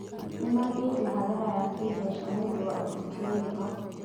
Nĩmathiĩte hathara ya kĩmbeca nĩũndũ wa ũruti mĩrigo